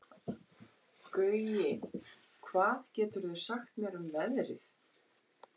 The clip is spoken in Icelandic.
Gaui, hvað geturðu sagt mér um veðrið?